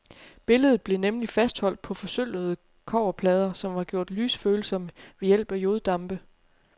Billedet blev nemlig fastholdt på forsølvede kobberplader, som var gjort lysfølsomme ved hjælp af joddampe.